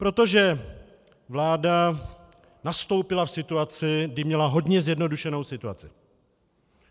Protože vláda nastoupila v situaci, kdy měla hodně zjednodušenou situaci.